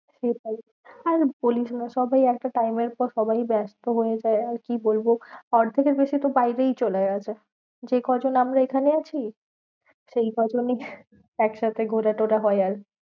সেটাই আর বলিস না সবাই একটা time এর পর সবাই ব্যস্ত হয়ে যায়। আর কি বলবো? অর্ধেকের বেশি তো বাইরেই চলে গেছে। যে ক জন আমরা এখানে আছি, সেই ক জনই একসাথে ঘোরা টোরা হয় আরকি